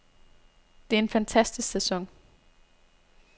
Det er en fantastisk sæson.